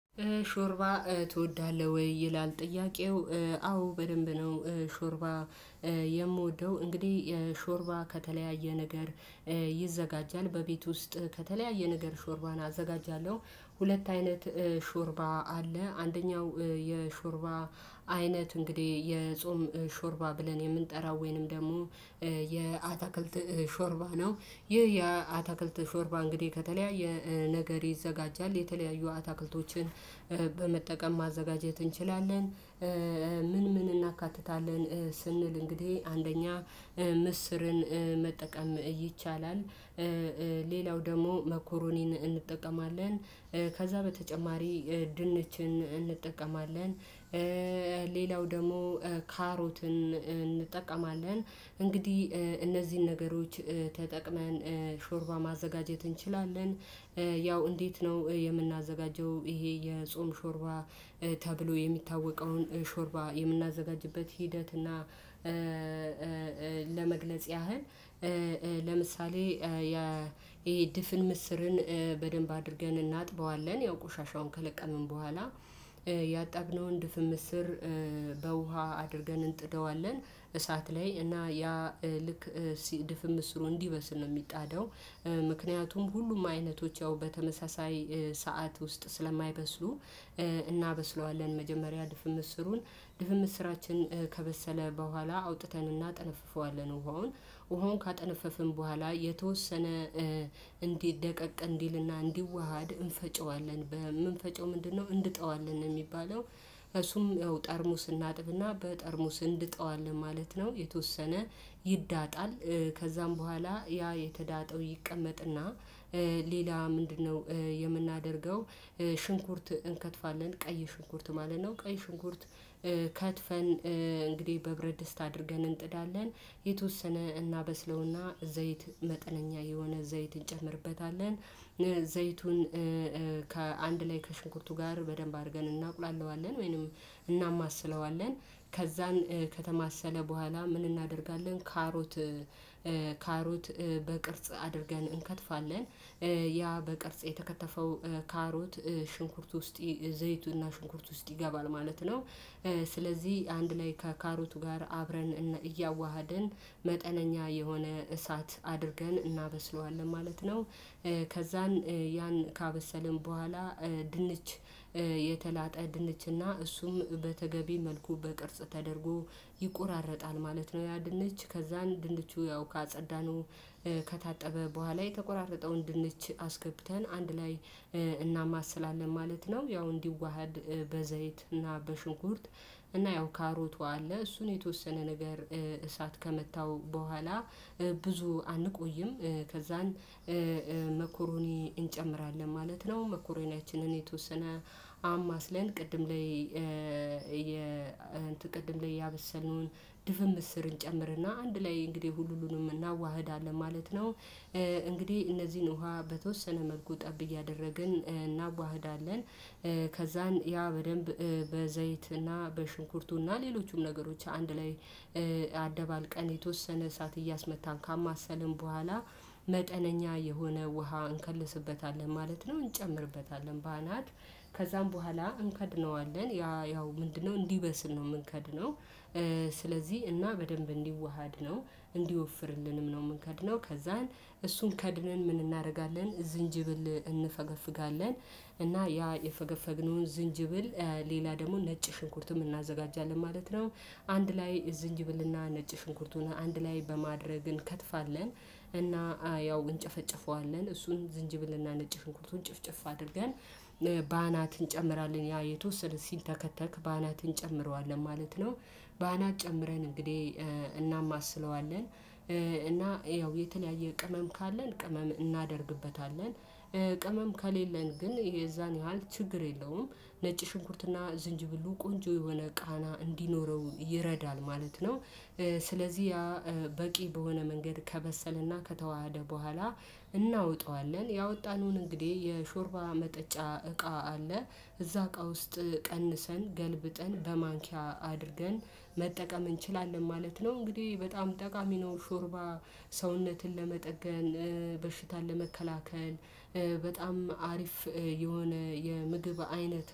ሾርባ ትወዳለህ ወይ? ይላል ጥያቄው። አዎ በደንብ ነው። ሾርባ የምወደው እንግዲ ሾርባ ከተለያየ ነገር። ይዘጋጃል በቤት ውስጥ ከተለያየ ነገር ሾርባን አዘጋጃለው። ሁለት አይነት ሾርባ አለ። አንደኛው የሾርባ አይነት እንግዲ የጾም ሾርባ ብለን የምንጠራው ወይንም ደሞ የአታክልት ሾርባ ነው። ይህ የአታክልት ሾርባ እንግዲ ከተለያየ ነገር ይዘጋጃል የተለያዩ አታክልቶችን በመጠቀም ማዘጋጀት እንችላለን። ምን ምን እናካትታለን? ስንል እንግዲ አንደኛ ምስርን መጠቀም ይቻላል። ሌላው ደሞ መኮሮኒን እንጠቀማለን። ከዛ በተጨማሪ ድንችን እንጠቀማለን። ሌላው ደሞ ካሮትን እንጠቀማለን። እንግዲ እነዚን ነገሮች ተጠቅመን ሾርባ ማዘጋጀት እንችላለን። ያው እንዴት ነው የምናዘጋጀው? ይሄ የጾም ሾርባ ተብሎ የሚታወቀውን ሾርባ የምናዘጋጅበት ሂደት እና ለመግለጽ ያህል። ለምሳሌ ያ ይሄ ድፍን ምስርን በደንብ አድርገን እናጥበዋለን ያው ቆሻሻው ከለቀምን በኋላ። ያጠብነውን ድፍን ምስር በውሃ አድርገን እንጥደዋለን። እሳት ላይ እና ያ ልክ ድፍን ምስሩ እንዲበስል ነው ሚጣደው። ምክንያቱም ሁሉም አይነቶች ያው በተመሳሳይ ሰዓት ውስጥ ስለማይበስሉ። እናበስለዋለን መጀመሪያ ድፍን ምስሩን ድፍን ምስራችን ከበሰለ በኋላ አውጥተን እናጠነፍፈዋለን። ውሃውን ውሃውን ካጠነፈፍን በኋላ የተወሰነ እንዲ ደቀቅ እንዲልና እንዲዋሃድ እንፈጨዋለን። በምንፈጨው ምንድነው? እንድጠዋለን ሚባለው እሱም ጠርሙስ እናጥብና በጠርሙስ እንድጠዋለን ማለት ነው። የተወሰነ ይዳጣል። ከዛም በኋላ ያ የተዳጠው ይቀመጥና ሌላ ምንድነው የምናደርገው? ሽንኩርት እንከትፋለን ቀይ ሽንኩርት ማለት ነው። ቀይ ሽንኩርት ከትፈን እንግዲ በብረት ድስት አድርገን እንጥዳለን። የተወሰነ እናበስለውና ዘይት መጠነኛ የሆነ ዘይት እንጨምርበታለን። ዘይቱን ከአንድ ላይ ከሽንኩርቱ ጋር በደንብ አርገን እናቁላላዋለን ወይንም እናማስለዋለን። ከዛን ከተማሰለ በኋላ ምን እናደርጋለን? ካሮት ካሮት በቅርጽ አድርገን እንከትፋለን። ያ በቅርጽ የተከተፈው ካሮት ሽንኩርት ውስጥ ዘይቱና ሽንኩርት ውስጥ ይገባል ማለት ነው። ስለዚ አንድ ላይ ከካሮቱ ጋር አብረን እያዋሃድን መጠነኛ የሆነ እሳት አድርገን እናበስለዋለን ማለት ነው። ከዛን ያን ካበሰልን በኋላ ድንች የተላጠ ድንችና እሱም በተገቢ መልኩ በቅርጽ ተደርጎ ይቆራረጣል ማለት ነው። ያ ድንች ከዛን ድንቹ ያው ካጸዳነው ከታጠበ በኋላ የተቆራረጠውን ድንች አስገብተን አንድ ላይ እናማስላለን ማለት ነው። ያው እንዲዋሃድ በዘይትና በሽንኩርት እና ያው ካሮቱ አለ እሱን የተወሰነ ነገር እሳት ከመታው በኋላ ብዙ አንቆይም። ከዛን መኮሮኒ እንጨምራለን ማለት ነው። መኮረኒያችንን የተወሰነ አማስለን ቅድም ላይ የ ቅድም ላይ ያበሰልነውን ድፍን ምስር እንጨምርና አንድ ላይ እንግዲ ሁሉንም እናዋህዳለን ማለት ነው። እንግዲ እነዚን ውሃ በተወሰነ መልኩ ጠብ እያደረግን እናዋህዳለን። ከዛን ያ በደንብ በዘይትና በሽንኩርቱና ሌሎቹም ነገሮች አንድ ላይ አደባልቀን የተወሰነ እሳት እያስመታን ካማሰልን በኋላ መጠነኛ የሆነ ውሃ እንከልስበታለን ማለት ነው። እንጨምርበታለን በአናት ከዛም በኋላ እንከድነዋለን ያ ያው ምንድነው እንዲበስል ነው ምንከድነው። ስለዚ እና በደንብ እንዲዋሃድ ነው። እንዲወፍርልንም ነው ምንከድነው ከዛን እሱን ከድነን ምን እናረጋለን? ዝንጅብል እንፈገፍጋለን። እና ያ የፈገፈግነውን ዝንጅብል ሌላ ደሞ ነጭ ሽንኩርትም እናዘጋጃለን ማለት ነው። አንድ ላይ ዝንጅብልና ነጭ ሽንኩርቱን አንድ ላይ በማድረግ እንከትፋለን። እና ያው እንጨፈጭፈዋለን እሱን ዝንጅብልና ነጭ ሽንኩርቱን ጭፍጭፍ አድርገን በአናት እንጨምራለን ያ የተወሰነ ሲንተከተክ በአናት እንጨምረዋለን ማለት ነው። በአናት ጨምረን እንግዲ እናማስለዋለን እና ያው የተለያየ ቅመም ካለን ቅመም እናደርግበታለን። ቅመም ከሌለን ግን ይሄ የዛን ያህል ችግር የለውም። ነጭ ሽንኩርትና ዝንጅብሉ ቆንጆ የሆነ ቃና እንዲኖረው ይረዳል ማለት ነው። ስለዚ ያ በቂ በሆነ መንገድ ከበሰለና ከተዋሃደ በኋላ እናወጣዋለን። ያወጣነውን እንግዲ የሾርባ መጠጫ እቃ አለ እዛ እቃ ውስጥ ቀንሰን ገልብጠን በማንኪያ አድርገን መጠቀም እንችላለን ማለት ነው። እንግዲ በጣም ጠቃሚ ነው። ሾርባ ሰውነትን ለመጠገን በሽታን ለመከላከል በጣም አሪፍ የሆነ የምግብ አይነት